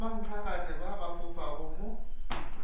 bommankgagane ba ba fofago mo